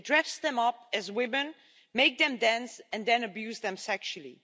They dress them up as women, make them dance and then abuse them sexually.